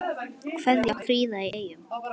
Kveðja, Fríða í Eyjum